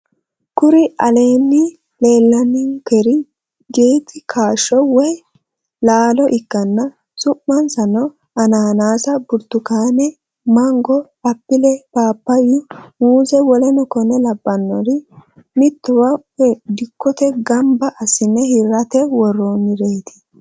Kuri aleeni leelaninonikehu gati kaasho woyi laalo ikana su'minisano ananase, buritukaane, maanigo, appile, papayu, muuze woleno konne labanori mittowa woyi dikkote gamibba asine hirate woronireti